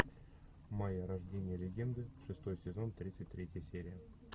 майя рождение легенды шестой сезон тридцать третья серия